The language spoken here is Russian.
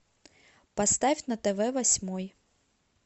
поставь на тв восьмой